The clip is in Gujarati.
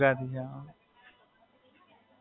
હાં, તમે પણ ગુજરાતી?